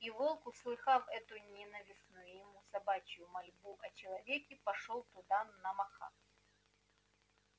и волк услыхав эту ненавистную ему собачью мольбу о человеке пошёл туда на махах